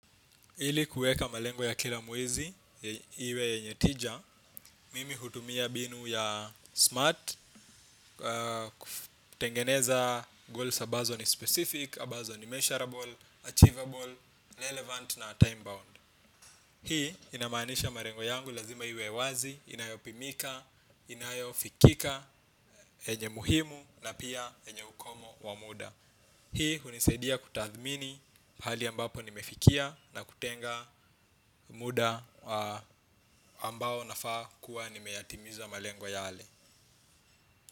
Ili kueka malengo ya kila mwezi, iwe yenye tija, mimi hutumia mbinu ya smart, kutengeneza goals ambazo ni specific, ambazo ni measurable, achievable, relevant na time bound. Hii inamaanisha malengo yangu lazima iwe wazi, inayopimika, inayofikika, yenye muhimu na pia yenye ukomo wa muda. Hii huniseidia kutathmini mahali ambapo nimefikia na kutenga muda wa ambao nafaa kuwa nimeyatimiza malengo yale.